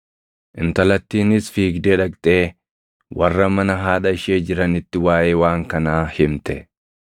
Intalattiinis fiigdee dhaqxee warra mana haadha ishee jiranitti waaʼee waan kanaa himte.